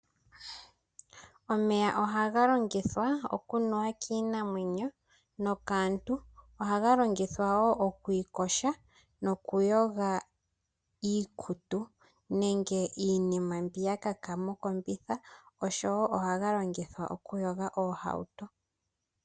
Omeya ohaga longithwa oku nuwa kiinamwenyo nokaantu. Ohaga longithwa wo oku iyoga noku yoga iikutu nenge iinima mbi ya kaka mokombitha oshowo ohaga longithwa oku yoga oohauto.